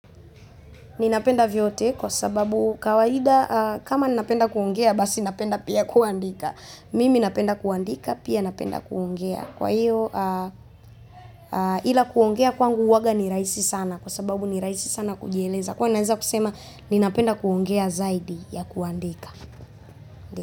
Ninapenda vyote kwa sababu kawaida kama ninapenda kuongea basi napenda pia kuandika. Mimi napenda kuandika pia napenda kuongea. Kwa hiyo ila kuongea kwangu uwaga ni rahisi sana kwa sababu ni rahisi sana kujieleza. Kwa naeza kusema ninapenda kuongea zaidi ya kuandika.